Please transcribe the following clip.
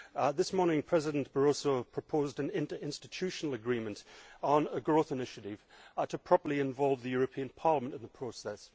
This morning, President Barroso proposed an interinstitutional agreement on a growth initiative to properly involve the European Parliament in the process.